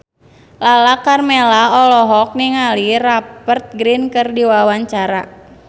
Lala Karmela olohok ningali Rupert Grin keur diwawancara